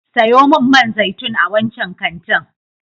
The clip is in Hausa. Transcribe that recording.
Sayo min man zaitun a wancan kantin.